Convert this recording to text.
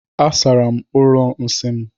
Asara m ụlọ nsị m.